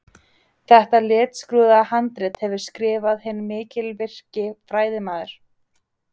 Þetta litskrúðuga handrit hefur skrifað hinn mikilvirki fræðimaður